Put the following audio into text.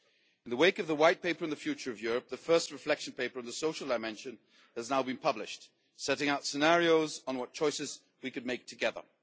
In the wake of the White Paper on the Future of Europe, the first reflection paper on the social dimension has now been published, setting out scenarios on what choices we could make together.